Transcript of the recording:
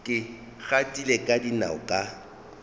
ke gatile ka dinao ka